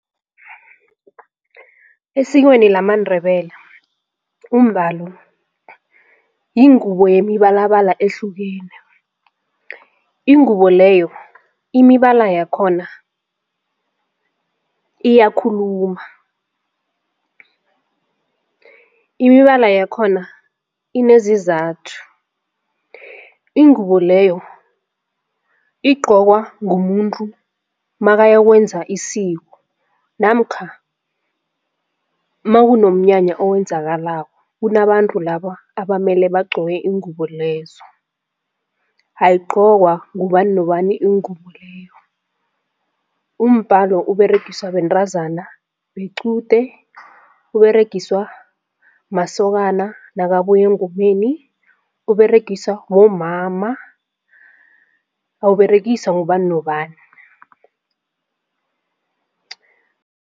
Esikweni lamaNdebele umbalo yingubo yemibalabala ehlukene. Ingubo leyo imibala yakhona iyakhuluma imibala yakhona inezizathu ingubo leyo igqokwa ngumuntu makayokwenza isiko namkha makunomnyanya owenzakalako kunabantu laba abamele bagq oke iingubo lezo. Ayigcokwa ngubani nobani ingubo leyo, umbalo uberegiswa bentazana bequde, uberegiswa masokana nakabuya engomeni, uberegiswa bomama awuberegiswa ngubani nobani.